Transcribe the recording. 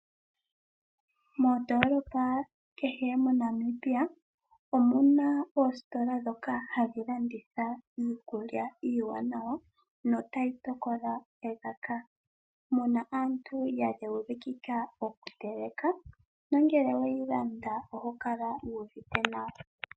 Mondoolopa kehe moNamibia omuna oositola dhoka hadhi landitha iikulya iiwanawa notayi tokola elaka. Muna aantu yadheukikika okuteleka nongele oweyi landa oho kala wuuvite nawa.